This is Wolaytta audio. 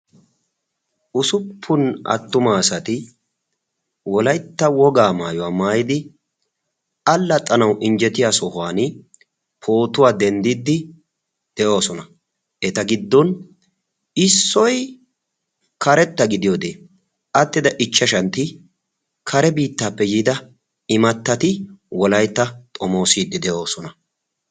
Usuppun attumaasati wolaytta wogaa maayuwaa maayidi allaxanawu injjetiya sohuwan pootuwaa denddiddi de'oosona eta giddon issoy karetta gidiyoodee attida ichchashantti kare biittaappe yiida imattati wolaytta xomoosiiddi de'oosona